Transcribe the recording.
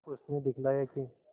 उसने दिखलाया कि